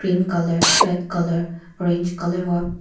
colour red colour orange --